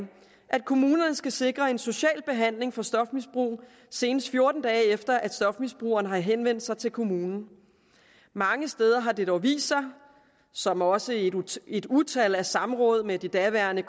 at kommunerne skal sikre en social behandling for stofmisbrug senest fjorten dage efter at stofmisbrugeren har henvendt sig til kommunen mange steder har det dog vist sig som også et utal af samråd med de daværende